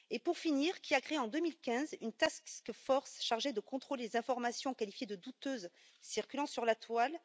Pour finir, qui a créé en 2015 une task force chargée de contrôler les informations qualifiées de douteuses circulant sur la toile?